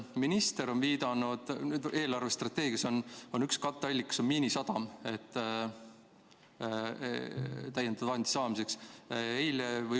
Minister on viidanud, et eelarvestrateegias on üks täiendavate vahendite katteallikaid Miinisadam.